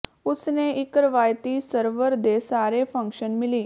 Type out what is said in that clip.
ਉਸ ਨੇ ਇੱਕ ਰਵਾਇਤੀ ਸਰਵਰ ਦੇ ਸਾਰੇ ਫੰਕਸ਼ਨ ਮਿਲੀ